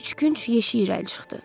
Üçgünc yeşik irəli çıxdı.